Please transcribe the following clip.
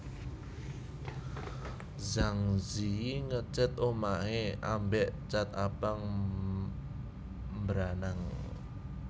Zhang Ziyi ngecat omahe ambek cat abang mbranang